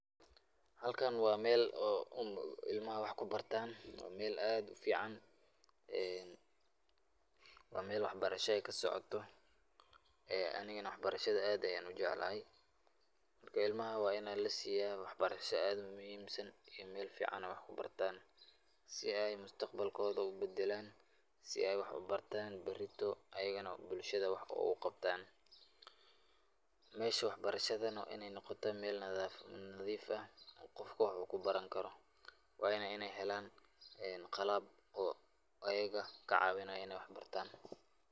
Halkan waa meel oo ilmaha wax kubartaan, meel aad ufican, waa meel wax barasha aay kasocoto, anigana wax barashada aad ayaan ujeclahay, marka ilmaha waa in lasiiya wax barasha aad u muhiimsan, in meel fican aay wax kubartaan, si aay mustaqbalkooda ubadalaan, si aay wax ubartaan barito ayagana bulshada wax oogu qabtaan, meesha wax barashada waa ineey noqotaa meel nadiif ah qofka wax uu kubaran karo, waana inaay helaan qalab ayaga kacawinaayo inaay wax bartaan.